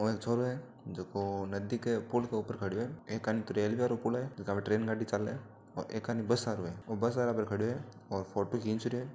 ओ एक छोरो है जकों नदी का पुल के ऊपर खड़ियो है एकानी तो रेल्वे को पुल है जका पर ट्रेन गाड़ी चाले है और एकानी बस आरों है वो बस पर खड़ियो है और फोटो खीच रहियो है।